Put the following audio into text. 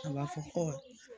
A b'a fɔ